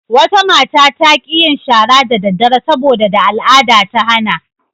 Wata mata ta ƙi yin shara da daddare sabo da al'ada ta hana.